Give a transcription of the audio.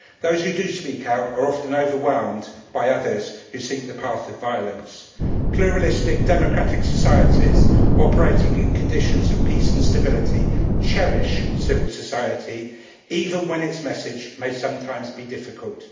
Those who do speak out are often overwhelmed by others who seek the path of violence. Pluralistic democratic societies operating in conditions of peace and stability cherish civil society, even when its message may sometimes be difficult.